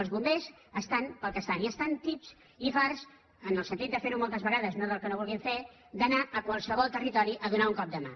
els bombers estan pel que estan i estan tips i farts en el sentit de fer ho moltes vegades no que no ho vulguin fer d’anar a qualsevol territori a donar un cop de mà